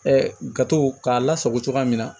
gato k'a lasago cogoya min na